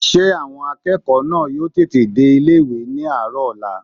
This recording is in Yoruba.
Ṣé àwọn akẹ́kọ̀ọ́ náà yóò tètè dé ilé-ìwé ní àárọ̀ ọ̀la?